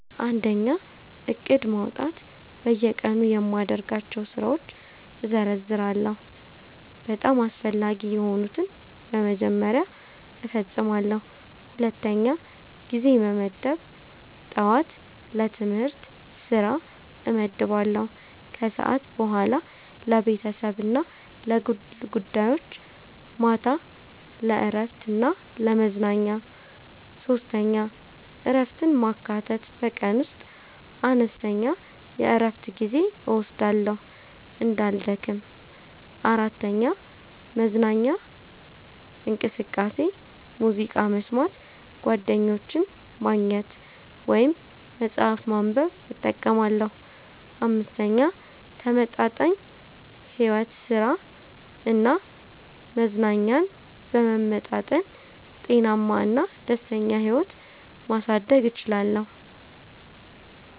1. ዕቅድ ማውጣት በየቀኑ የማደርጋቸውን ስራዎች እዘርዝራለሁ፤ በጣም አስፈላጊ የሆኑትን በመጀመሪያ እፈጽማለሁ። 2. ጊዜ መመደብ ጠዋት ለትምህርት/ስራ እመድባለሁ ከሰዓት በኋላ ለቤተሰብ እና ለግል ጉዳዮች ማታ ለእረፍት እና ለመዝናኛ 3. እረፍትን ማካተት በቀን ውስጥ አነስተኛ የእረፍት ጊዜ እወስዳለሁ እንዳልደክም። 4. መዝናኛ እንቅስቃሴ ሙዚቃ መስማት፣ ጓደኞችን ማግኘት ወይም መጽሐፍ ማንበብ እጠቀማለሁ። 5. ተመጣጣኝ ሕይወት ሥራ እና መዝናኛን በመመጣጠን ጤናማ እና ደስተኛ ሕይወት ማሳደግ እችላለሁ።